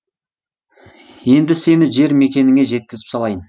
енді сені жер мекеніңе жекізіп салайын